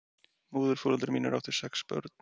Móðurforeldrar mínir áttu sex börn.